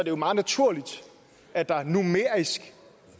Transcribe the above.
jo meget naturligt at der numerisk